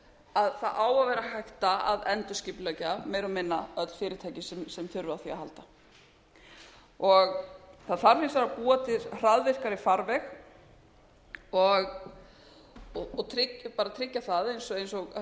að það á að vera hægt að endurskipuleggja meira og minna öll fyrirtæki sem þurfa á því að halda það þarf hins vegar að búa til hraðvirkari farveg og bara tryggja það eins og raunar